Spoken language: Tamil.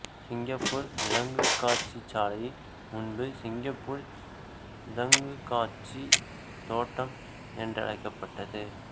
சிங்கப்பூர் விலங்குக் காட்சிச்சாலை முன்பு சிங்கப்பூர் விலங்குக் காட்சித் தோட்டம் என்றழைக்கப்பட்டது